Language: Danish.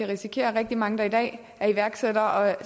risikerer at rigtig mange der i dag er iværksættere og er